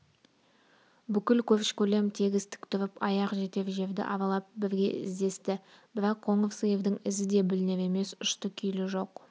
бүкіл көрші-көлем тегіс тік тұрып аяқ жетер жерді аралап бірге іздесті бірақ қоңыр сиырдың ізі де білінер емес ұшты-күйді жоқ